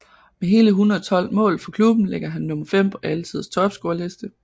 Med hele 112 mål for klubben ligger han nummer fem på alle tiders topscorerliste